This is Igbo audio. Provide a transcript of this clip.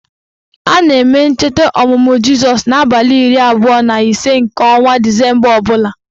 A na-eme ncheta ọmụmụ Jizọs n' abalị iri abụọ na ise nke ọnwa disemba ọbụla